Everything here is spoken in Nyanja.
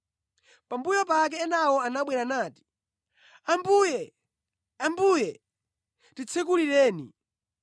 “Pambuyo pake enawo anabwera nati, ‘Ambuye! Ambuye! Titsekulireni!’